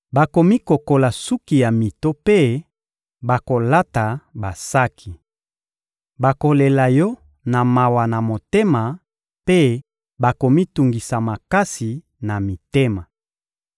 Bakomikokola suki ya mito mpe bakolata basaki. Bakolela yo na mawa na motema mpe bakomitungisa makasi na mitema.